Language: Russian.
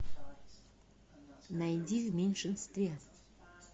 найди в меньшинстве